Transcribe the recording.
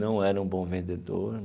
Não era um bom vendedor.